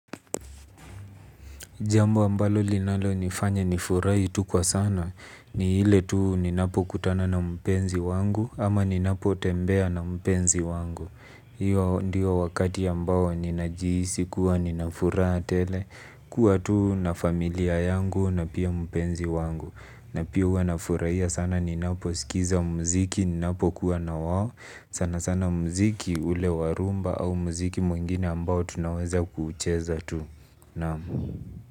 Jambu ambalo linalonifanya nifurahi tu kwa sana. Ni ile tu ninapo kutana na mpenzi wangu ama ninapo tembea na mpenzi wangu. Hio ndio wakati ambao ninajihisi kuwa ninafuraha tele kuwa tu na familia yangu na pia mpenzi wangu. Na pia huwa nafurahia sana naniposikia muziki ninapokuwa na wao. Sana sana muziki ule wa rhumba au muziki mwingine ambao tunaweza kuucheza tu. Naam.